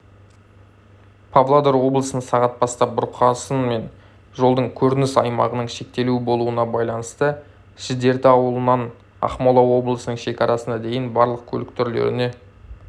павлодар облысында сағат бастап бұрқасын мен жолдың көрініс аймағының шектеулі болуына байланысты шідерті ауылынан ақмола облысының шекарасына дейін барлық көлік түрлеріне